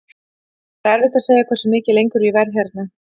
Það er erfitt að segja hversu mikið lengur ég verð hérna.